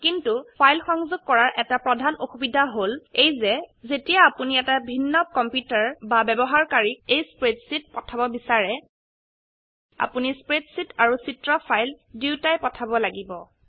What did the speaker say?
কিন্তু ফাইল সংযোগ কৰাৰ এটা প্ৰধান অসুবিধা হল এই যে যেতিয়াই আপোনি এটা ভিন্ন কম্পিউটাৰ বা ব্যবহাৰকাৰীক এই স্প্ৰেডশীট পঠাব বিছাৰে আপোনি স্প্ৰেডশীট আৰু চিত্ৰ ফাইল দুইটায়েই পঠাব লাগিব